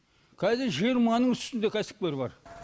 кәзір жиырманың үстінде кәсіпкер бар